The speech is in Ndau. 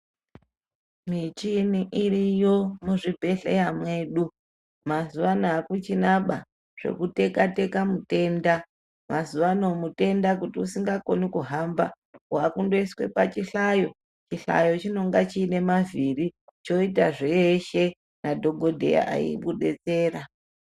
Michini iriyo muzvibhedhlera mwedu mazuwaano akuchinaba zbekuteka teka mutenda mazuwaano mutenda kuti usingakoni kuhamba waakundoiswe pachihlayo chihlayo chinonga chiine mavhiri choita zveshe madhokodheya eikudetsera.